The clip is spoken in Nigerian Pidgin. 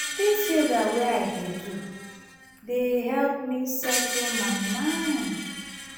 dis yoga wey i dey do dey help me settle my mind.